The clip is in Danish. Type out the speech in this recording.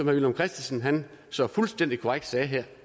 villum christensen så fuldstændig korrekt sagde